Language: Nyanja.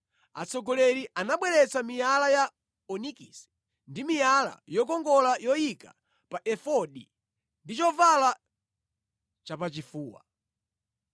Atsogoleri anabweretsa miyala ya onikisi ndi miyala yokongola yoyika pa efodi ndi chovala chapachifuwa.